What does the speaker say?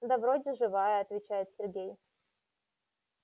да вроде живая отвечает сергей